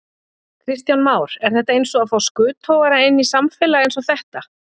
Kristján Már: Er þetta eins og að fá skuttogara inn í samfélag eins og þetta?